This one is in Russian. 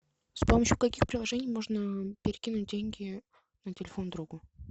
с помощью каких приложений можно перекинуть деньги на телефон другу